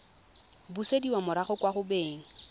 busediwa morago kwa go beng